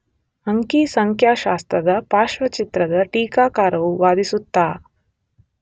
ಅಂಕಿ ಸಂಖ್ಯಾಶಾಸ್ತ್ರದ ಪಾರ್ಶ್ವಚಿತ್ರದ ಟೀಕಾಕಾರರು ವಾದಿಸುತ್ತಾ